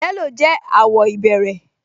Yẹ́lò jẹ́ àwọ̀ ìbẹ̀rẹ̀